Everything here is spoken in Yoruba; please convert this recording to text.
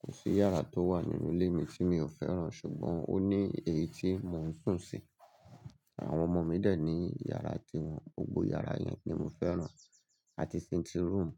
Kò sí yàrá tó wà nínú ilé mi tí mi ò fẹ́ràn ṣùgbọ́n ó ní èyí tí mò ń sùn sí. Àwọn ọmọ mi dẹ̀ ní iyàrá ti wọn. Gbogbo yàrá yẹn ni mo fẹ́ràn àti sitting room.